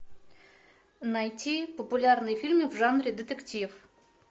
найти популярные фильмы в жанре детектив